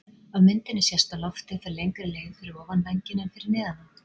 Af myndinni sést að loftið fer lengri leið fyrir ofan vænginn en fyrir neðan hann.